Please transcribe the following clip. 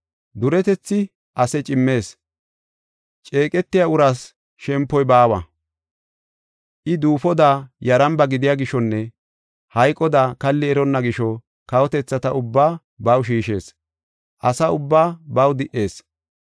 Duretethi ase cimmees; ceeqetiya uraas shempoy baawa. I duufoda yaramba gidiya gishonne hayqoda kalli eronna gisho, kawotethata ubbaa baw shiishees; asa ubbaa baw di77ees.